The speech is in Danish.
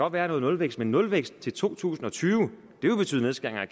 være nulvækst men nulvækst til to tusind og tyve vil betyde nedskæringer